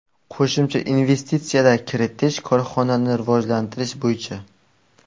Qo‘shimcha investitsiyalar kiritish, korxonani rivojlantirish bo‘yicha.